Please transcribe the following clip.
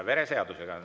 Vereseadus on.